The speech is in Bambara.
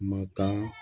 Matan